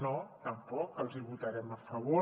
no tampoc els hi votarem a favor